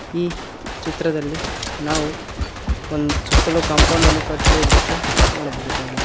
ಈ ಚಿತ್ರದಲ್ಲಿ ನಾವು ಒಂದ್ ಸುತ್ತಲು ಕಾಂಪೌಂಡನ್ನು ಕಟ್ಟಿರುವ ದೃಶ್ಯ ನೋಡಬಹುದಾಗಿದೆ.